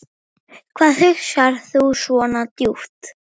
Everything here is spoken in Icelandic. Hvað hugsar þú svona djúpt?